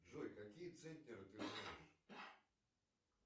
джой какие центнеры ты знаешь